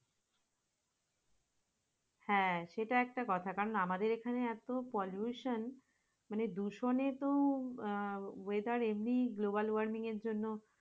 হ্যাঁ সেটা একটা কথা কারণ আমাদের এখানে এত polucation মানে দূষণে তো আহ weather এমনি golobal wormin এর জন্য